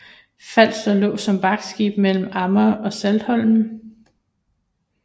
Falster lå som vagtskib mellem Amager og Saltholm